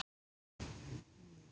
Hannes Hafstein.